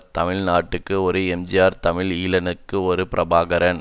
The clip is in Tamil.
தமிழ் நாட்டுக்கு ஒரு எம்ஜிஆர் தமிழ் ஈழத்துக்கு ஒரு பிரபாகரன்